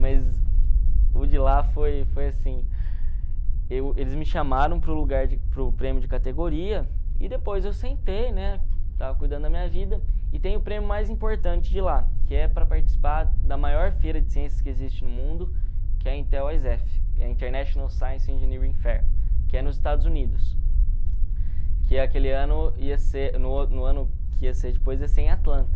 mas o de lá foi foi assim, eu eles me chamaram para o lugar para o prêmio de categoria, e depois eu sentei, estava cuidando da minha vida, e tem o prêmio mais importante de lá, que é para participar da maior feira de ciências que existe no mundo, que é a Intel International Science Engineering Fair, que é nos Estados Unidos, que aquele ano ia ser que ia ser depois ia ser em Atlanta.